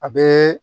A bɛ